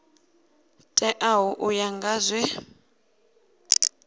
teaho u ya nga zwe